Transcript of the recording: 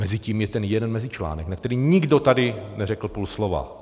Mezitím je ten jeden mezičlánek, na který nikdo tady neřekl půl slova.